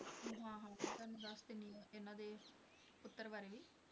ਹਾਂ ਹਾਂ ਮੈਂ ਤੁਹਾਨੂੰ ਦੱਸ ਦਿੰਦੀ ਹਾਂ ਇਹਨਾਂ ਦੇ ਪੁੱਤਰ ਬਾਰੇ ਵੀ।